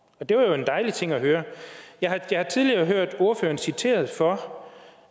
og det var jo en dejlig ting at høre jeg har tidligere hørt ordføreren citeret for